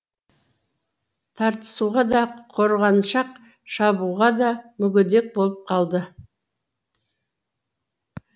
тартысуға да қорғаншақ шабуға да мүгедек болып қалды